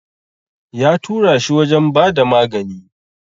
Ya tura shi wajen ba da magani.